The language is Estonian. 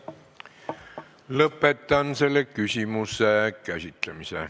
Lõpetan selle küsimuse käsitlemise.